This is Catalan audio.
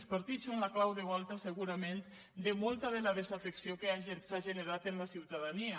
els partits són la clau de volta segurament de molta de la desafecció que s’ha generat en la ciutadania